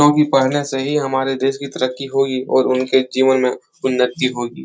क्योंकि पहले से ही हमारे देश की तरक्की हुई और उनके जीवन में उन्नति होगी।